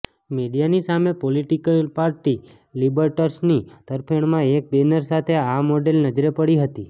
મીડિયાની સામે political party લિબટર્સની તરફેણમાં એક બેનર સાથે આ મોડેલ નજરે પડી હતી